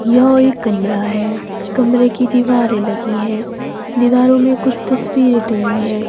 यह एक कमरा है कमरे की दीवारें लगी हैं दीवारों में कुछ तस्वीरें टंगी है।